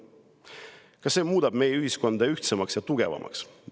Kas see muudab meie ühiskonda ühtsemaks ja tugevamaks?